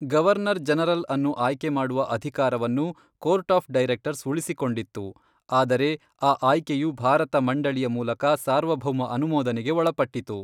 Governor ಜನರಲ್ಅನ್ನು ಆಯ್ಕೆ ಮಾಡುವ ಅಧಿಕಾರವನ್ನು ಕೋರ್ಟ್ ಆಫ್ ಡೈರೆಕ್ಟರ್ಸ್ ಉಳಿಸಿಕೊಂಡಿತ್ತು, ಆದರೆ ಆ ಆಯ್ಕೆಯು ಭಾರತ ಮಂಡಳಿಯ ಮೂಲಕ ಸಾರ್ವಭೌಮ ಅನುಮೋದನೆಗೆ ಒಳಪಟ್ಟಿತು.